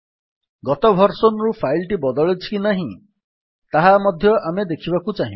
ଗତ ଭର୍ସନ୍ ରୁ ଫାଇଲ୍ ଟି ବଦଳିଛି କି ନାହିଁ ତାହା ମଧ୍ୟ ଆମେ ଦେଖିବାକୁ ଚାହିଁବା